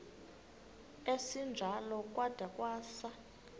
esinjalo kwada kwasa